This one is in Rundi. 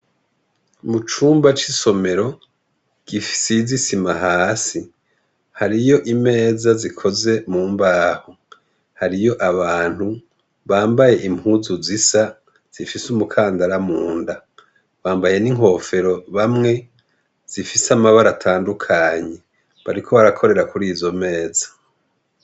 Mu cumba c'isomero, gifise isima hasi hariyo imeza zikoze mu mbaho ,hariyo abantu bambaye impuzu zisa ,zifise umukandara munda bambaye n'inkofero bamwe zifise amabara atandukanye bariko barakorera kuri izo meza.